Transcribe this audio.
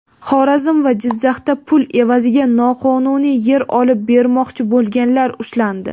Xorazm va Jizzaxda pul evaziga noqonuniy yer olib bermoqchi bo‘lganlar ushlandi.